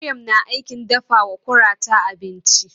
Maryam na aikin dafawa kurata abinci.